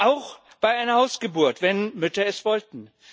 auch bei einer Hausgeburt, wenn Mütter es wollten.